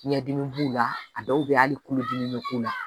Biɲɛ dimi b'u la a dɔw bɛ yen hali kulodimi bɛ k'u la